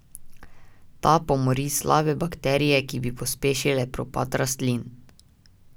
Ta pomori slabe bakterije, ki bi pospešile propad rastlin.